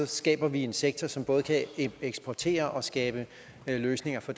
skaber vi en sektor som både kan eksportere og skabe løsninger for